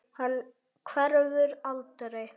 Hann hverfur aldrei.